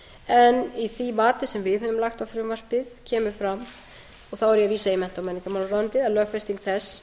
en í því mati sem við höfum lagt á frumvarpið kemur fram og þá er ég að vísa í mennta og menningarmálaráðuneytið að lögfesting þess